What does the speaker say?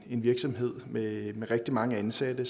en virksomhed med rigtig mange ansatte